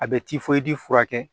A bɛ furakɛ